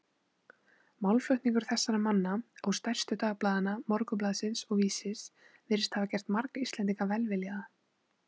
Málflutningur þessara manna og stærstu dagblaðanna, Morgunblaðsins og Vísis, virðist hafa gert marga Íslendinga velviljaða